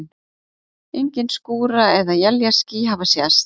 Engin skúra- eða éljaský hafa sést.